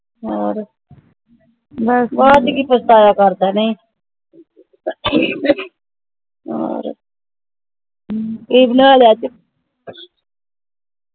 ਹੋਰ ਬਾਅਦ ਚ ਕਿ ਪਛਤਾਇਆ ਕਰਦਾ ਹੈ ਨੀ ਕਿ ਬਣਾ ਲਿਆ ਅੱਜ